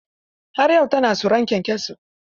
Har yau ta na tsoron kyankyaso.